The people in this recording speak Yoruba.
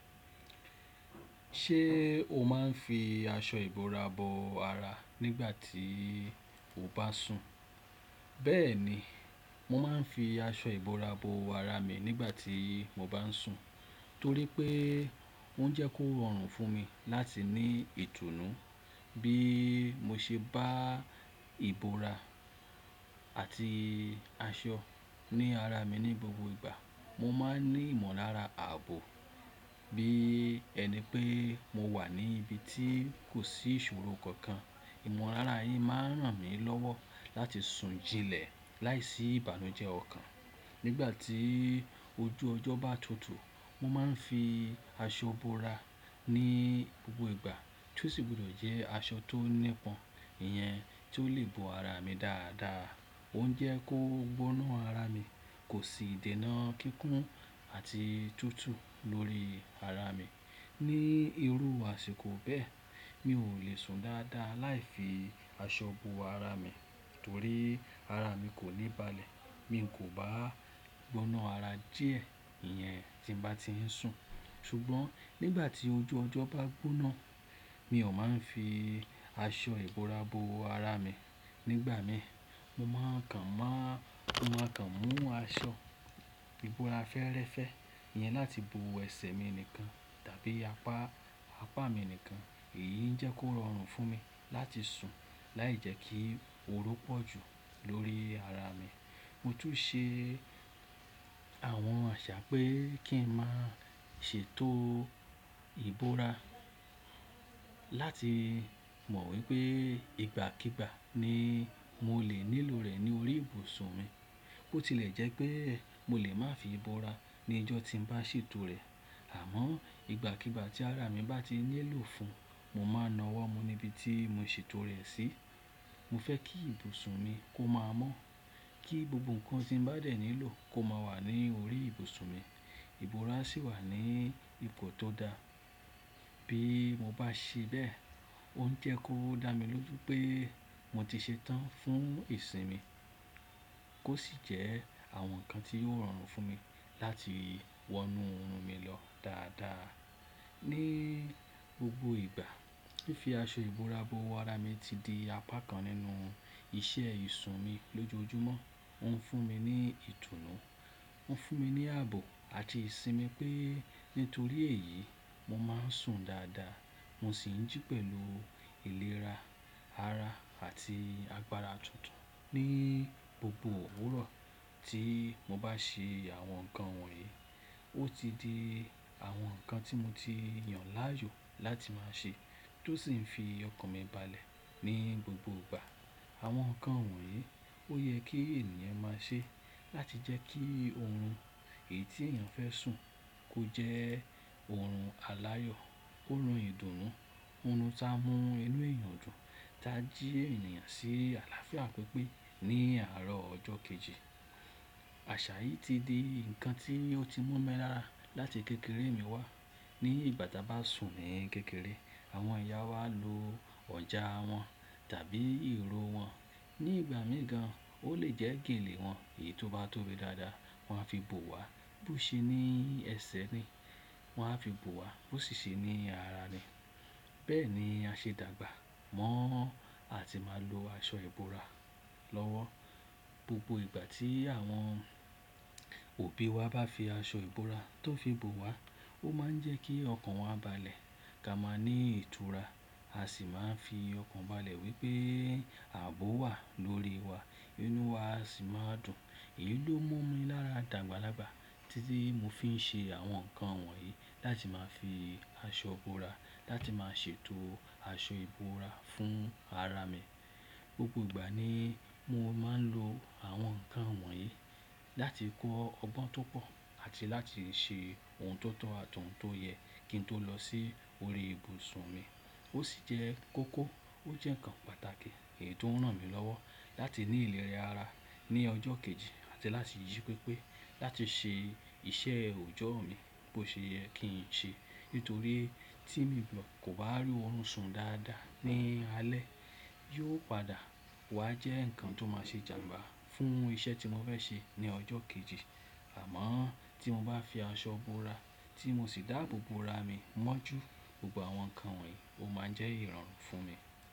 Ṣé o máa ń fi aṣọ ìbora bo ara nígbà tí o bá sùn? Bẹ́ẹ̀ni, mo máa ń fi aṣọ ìbora bo ara mi nígbà tí mo bá ń sùn torí pé ó ń jẹ́ kó rọrùn fún mi láti ní ìtùnú. Bí mo ṣe bá ìbora àti aṣọ ní ara mi ní gbogbo ìgbà, mo máa ń ní ìmọ̀lára ààbò bí ẹni pé mo wà ní ibi tí kò sí ìṣòro kankan. Ìmọ̀lára yìí máa ń ràn mí lọ́wọ́ láti sùn jilẹ̀ láìsí ìbànújẹ́ ọ̀kan. Nígbà tí ojú ọjọ́ bá tutu. Mo máa ń fi aṣọ bora ní gbogbo ìgbà tí ó sì gbọdọ̀ jẹ́ aṣọ tó nípọn ìyẹn tí ó lè bo ara mi dáadáa. Ó ń jẹ́ kó gbóná ara mi, kò sì dènà kíkún àti tútù lórí ara mi. Ní irú àsìkò bẹ́ẹ̀, mi ò lè sùn dáadáa láì fi aṣọ ìbora bo ara mi torí ara mi kò ní balẹ̀. Mi kò bá gbóná ara díẹ̀ ìyẹn tí mo bá ti ń sùn. Ṣùgbọ́n nígbà tí ojú ọjọ́ bá gbóná, mi ò máa ń fi aṣọ ìbora bo ara mi. Nígbà mìí, mo máa kàn mú aṣọ ìbora fẹ́ẹ́rẹ́fẹ́ yẹn láti bo ẹ̀ṣẹ̀ mi nìkan tàbí apá mi nìkan. Èyí ń jẹ́ kó rọrùn fún mi láti sùn láì jẹ́ kí ooru pọ̀ jù lórí ara mi. Mo tún ṣe àwọn àṣà pé kí n má ṣètò ìbora láti mọ̀ wípé ìgbàkígbà ni mo lè nílò rẹ̀ ní orí ibùsùn mi. Ó ti lẹ̀ jẹ́ pé mo lè má fi ìbora ní ọjọ́ tí n bá ṣètò rẹ̀. Àmọ́ ìgbàkígbà tí ara mi bá ti nílò fún, mo máa nà ọ́ wọ́ mú níbi tí mo ṣètò rẹ̀ sí. Mo fẹ́ kí ibùsùn mi kó máa mọ́, kí gbogbo nǹkan tí n bá dẹ̀ nílò kó máa wà ní orí ibùsùn mi. Ìbora sì wà ní ipò tó dáa. Bí mo bá ṣe bẹ́ẹ̀, ó ń jẹ́ kó dá mi lójú pé mo ti ṣetán fún ìsìn mi, kó sì jẹ́ àwọn nǹkan tí yóò rọrùn fún mi láti wọnú orun mi lọ dáadáa ní gbogbo ìgbà. Fi aṣọ ìbora bo ara mi ti di apá kan nínú iṣẹ́ ìsùn mi lójoojúmọ́. Ó ń fún mi ní ìtùnú, ó ń fún mi ní àbò àti ìsinmi pé nítorí èyí, mo máa ń sùn dáadáa. Mo sì ń jí pẹ̀lú ìlera ara àti agbára tuntun ní gbogbo òwúrọ̀ tí mo bá ṣe àwọn nǹkan wọ̀nyí. Ó ti di àwọn nǹkan tí mo ti yàn láàyò láti máa ṣe tó sì ń fi ọkàn mi balẹ̀ ní gbogbo ìgbà. Àwọn nǹkan wọ̀nyí ó yẹ kí ènìyàn máa ṣe láti jẹ́ kí oorun èyí tí èèyàn fẹ́ sùn kó jẹ́ oorun aláyọ̀, oorun ìdùnnú, oorun tá a mú inú èèyàn dùn, tá jí ènìyàn sí àlàáfíà pípé ní àárọ̀ ọjọ́ kejì. Àṣà yìí ti di nǹkan tí ó ti mú mi rárá láti kékeré mi wá. Ní ìgbà tí a bá sùn ní kékeré, àwọn ìyá wà lo ọjà wọn tàbí ìrò wọn. Ní ìgbà mìí gan, ó lè jẹ́ gèlè wọn. Èyí tó bá tóbi dáadáa, wọ́n á fi bò wá, bó ṣe ní ẹ̀ṣẹ̀ ni, wọ́n á fi bò wá, bó ṣèṣe ní ara ni. Bẹ́ẹ̀ ni a ṣe dàgbà mọ́ a ti máa lo aṣọ ìbora lọ́wọ́. Gbogbo ìgbà tí àwọn òbí wa bá fi aṣọ ìbora tó fi bò wá, ó máa ń jẹ́ kí ọkàn wa bàlẹ̀, ka máa ní ìtura, a sì máa ń fi ọkàn bálẹ̀ wí pé àbọ̀ wà lórí wa, inú wa sì máa dùn. Èyí ló mú mi lára dàgbàlágbà tí mo fi ń ṣe àwọn nǹkan wọ̀nyí láti máa fi aṣọ ìbora, láti máa ṣètò aṣọ ìbora fún ara mi. Gbogbo ìgbà ni mo máa ń lo àwọn nǹkan wọ̀nyí láti kọ́ ọgbọ́n tó pọ̀ àti láti ṣe ohun tó tọ́ àtọ̀hún tó yẹ kí n tó lọ sí orí ibùsùn mi. Ó sì jẹ́ kókó, ó jẹ́ nǹkan pàtàkì ètò ń ràn mí lọ́wọ́ láti ní ìlera ara ní ọjọ́ kejì àti láti yí pípé láti ṣe iṣẹ́ òòjọ́ mi bí ó ṣe yẹ kí n ṣe. Nítorí tí mi kò bá rí oorun sùn dáadáa ní alẹ́, yóò padà wá jẹ́ nǹkan tó máa ṣe jànbà fún iṣẹ́ tí mo fẹ́ ṣe ní ọjọ́ kejì. Àmọ́ tí mo bá fi aṣọ ìbora tí mo sì dáàbò bo ara mi mọ́jú, gbogbo àwọn nǹkan wọ̀nyí ó máa jẹ́ ìrànwọ́ fún mi.